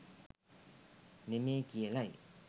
නෙමේ කියලයි.